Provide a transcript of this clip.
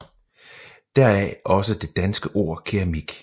Deraf også det danske ord keramik